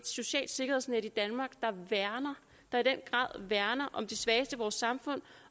socialt sikkerhedsnet i danmark der i den grad værner om de svageste i vores samfund